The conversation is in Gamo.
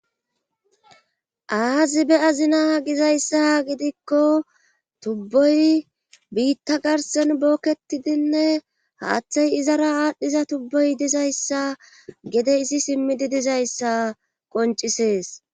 aazibe azina gizayssa gidikko tubboy biitta garsen bookketidinne haaththey izara aadhdhiza tubboy dizayssa gede izi simmidi dizayssa qoncisees